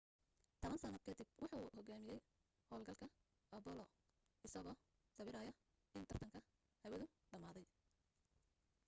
toban sano kadib wuxuu hogaamiyay hawlgalka apollo-isagoo sawiraya in tartanka hawadu dhamaaday